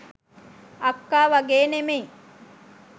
අක්කා වගේ නෙමෙයි